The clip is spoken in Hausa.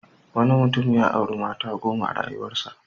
Wanui mutum ya auri mata goma a rayuwarsa.